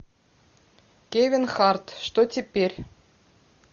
кевин харт что теперь